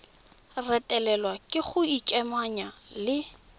retelelwa ke go ikamanya le